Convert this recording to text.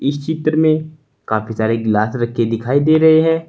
इस चित्र में काफी सारे गिलास रख के दिखाई दे रहे हैं।